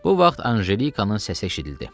Bu vaxt Anjelikanın səsi eşidildi.